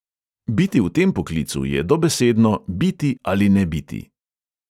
Biti v tem poklicu je dobesedno "biti ali ne biti".